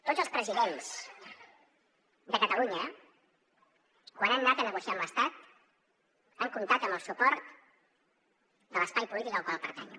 tots els presidents de catalunya quan han anat a negociar amb l’estat han comptat amb el suport de l’espai polític al qual pertanyo